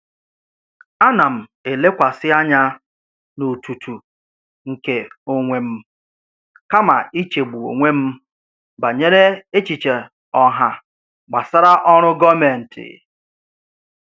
Ana m elekwasị anya n'otutu nke onwe m kama ichegbu onwe m banyere echiche ọha gbasara ọrụ gọọmentị.